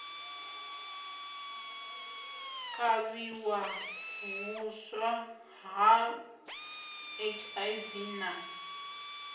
kavhiwa huswa ha hiv na